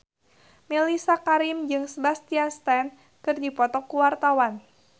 Mellisa Karim jeung Sebastian Stan keur dipoto ku wartawan